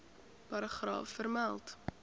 paragraaf vermeld